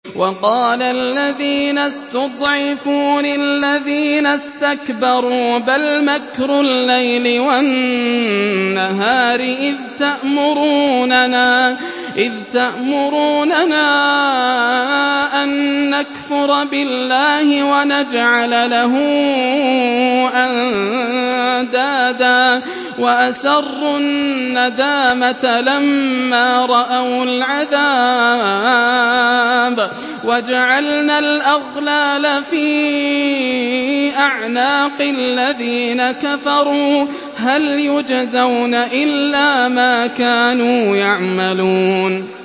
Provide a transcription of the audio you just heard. وَقَالَ الَّذِينَ اسْتُضْعِفُوا لِلَّذِينَ اسْتَكْبَرُوا بَلْ مَكْرُ اللَّيْلِ وَالنَّهَارِ إِذْ تَأْمُرُونَنَا أَن نَّكْفُرَ بِاللَّهِ وَنَجْعَلَ لَهُ أَندَادًا ۚ وَأَسَرُّوا النَّدَامَةَ لَمَّا رَأَوُا الْعَذَابَ وَجَعَلْنَا الْأَغْلَالَ فِي أَعْنَاقِ الَّذِينَ كَفَرُوا ۚ هَلْ يُجْزَوْنَ إِلَّا مَا كَانُوا يَعْمَلُونَ